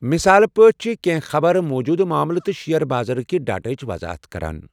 مثال پٲٹھۍ چھِ کینٛہہ خبرٕ موٗجوٗدٕ معاملہٕ تہٕ شییر بازرٕ کہ ڈیٹاہٕچ وضاحت کران۔